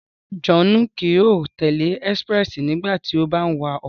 Rárá, Johnu kii yóò tẹle expréssi nígbàtí o bà ń wa ọkọ